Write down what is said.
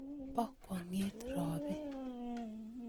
Po kwong'et ropii